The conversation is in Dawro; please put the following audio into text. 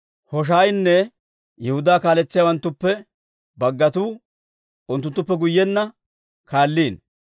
Hoshaayinne Yihudaa kaaletsiyaawanttuppe baggatuu unttuttuppe guyyenna kaalliino.